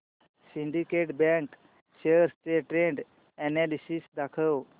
Syndicate Bank shares चे trend analysis दाखव